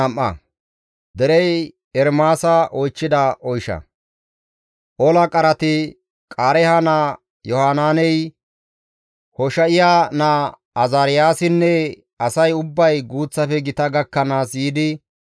Ola qarati, Qaareeha naa Yohanaaney, Hosha7iya naa Azaariyaasinne asay ubbay guuththafe gita gakkanaas yiidi,